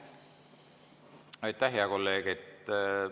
Aitäh, hea kolleeg!